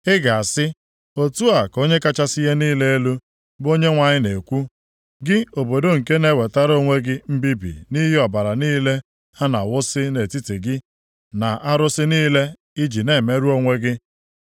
‘Ị ga-asị, Otu a ka Onye kachasị ihe niile elu, bụ Onyenwe anyị na-ekwu: Gị obodo nke na-ewetara onwe gị mbibi nʼihi ọbara niile a na-awụsi nʼetiti gị, na arụsị niile i ji na-emerụ onwe gị.